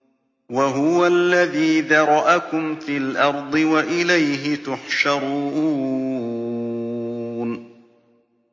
وَهُوَ الَّذِي ذَرَأَكُمْ فِي الْأَرْضِ وَإِلَيْهِ تُحْشَرُونَ